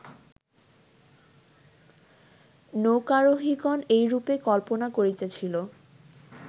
নৌকারোহিগণ এইরূপে কল্পনা করিতেছিল